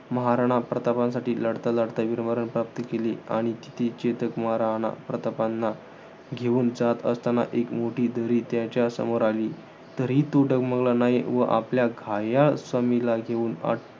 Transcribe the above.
महाराणा प्रतापांसाठी लढता लढता वीरमरण प्राप्त केल आणि तिथे चेतक महाराणा प्रतापांना, घेऊन जात असतांना एक मोठी दरी त्याच्यासमोर आली. तरी तो डगमगला नाही व आपल्या घायाळ स्वामीला घेऊन अं